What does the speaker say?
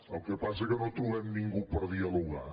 el que passa és que no trobem ningú per dialogar